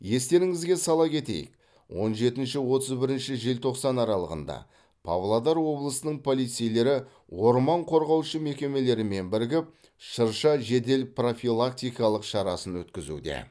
естеріңізге сала кетейік он жетінші отыз бірінші желтоқсан аралығында павлодар облысының полицейлері орман қорғаушы мекемелермен бірігіп шырша жедел профилактикалық шарасын өткізуде